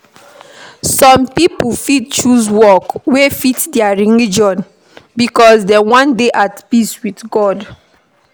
Some pipo fit choose work wey fit their religion because dem wan dey at peace with God